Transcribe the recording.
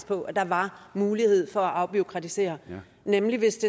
på at der var mulighed for at afbureaukratisere nemlig hvis